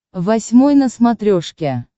восьмой на смотрешке